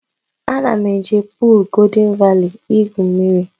Ana m eje puul Goldịn Vali igwu mmiri